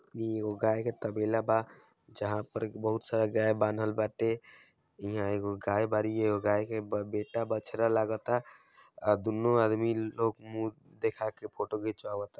इ एगो गाये के तबेला बा जहाँ पर बहुत सारा गाय बान्हल बांटे इहाँ एगो गाय बाड़ी एगो गाय के बेटा बछड़ा लागता और दुनो आदमी लोग मुँह देखा के फोटो घिचावत ता--